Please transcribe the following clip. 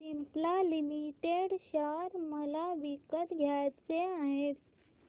Cipla limited share मला विकत घ्यायचे आहेत